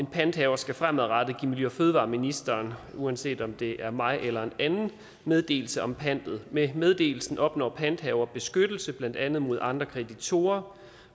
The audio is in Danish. panthaver skal fremadrettet give miljø og fødevareministeren uanset om det er mig eller en anden meddelelse om pantet med meddelelsen opnår panthaver beskyttelse blandt andet mod andre kreditorer